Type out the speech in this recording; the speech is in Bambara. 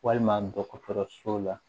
Walima dɔgɔtɔrɔso la